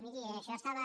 miri això estava